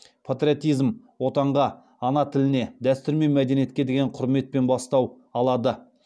патриотизм отанға ана тіліне дәстүр мен мәдениетке деген құрметтен бастау алады